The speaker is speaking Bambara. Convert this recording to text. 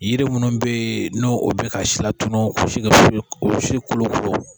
Yiri munnu be yen n'o bɛ ka si latunu o si ka o si kolokolo